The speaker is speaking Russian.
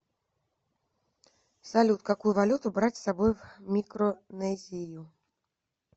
салют какую валюту брать с собой в микронезию